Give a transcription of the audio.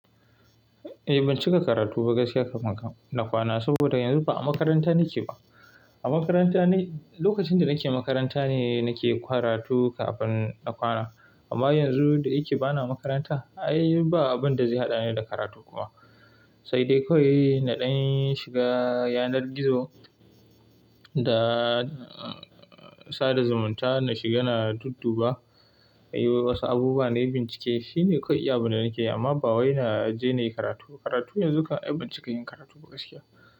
Eh ban cika karatu ba gaskiya kafin na kwana, saboda yanzu ba a makaranta nake ba. A makaranta ni-- lokacin da nake makaranta ne nake karatu kafin na kwana. Amma yanzu da yake ba na makaranta, ai ba abun da zai haɗani da karatu kuma. Sai dai kawai naɗin shiga yanar gizo da, sada zumunta na shiga na dudduba. Ai wasu abubuwa na yi bincike. Shi ne kawai abu da nake yi amma bawayi na jeni karatu. Karatu yanzu kawai ai ban cika yin karatu ba gaskiya.